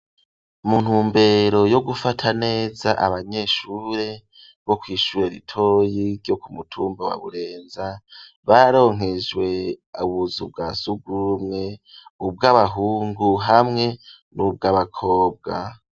Mu ntumbero yo gufata neza abanyeshure bo kwishura ritoyi ryo kumutumba wa burenza baronkejwe ubuzu bwa zugurumwe ubw'abahungu hamwe n'ubw'abakobwa.